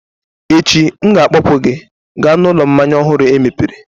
Echi, M ga-akpọpụ gị gaa n'ụlọ mmanya ọhụrụ emepere